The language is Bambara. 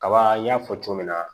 Kaba n y'a fɔ cogo min na